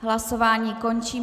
Hlasování končím.